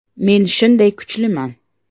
Men shunday kuchliman.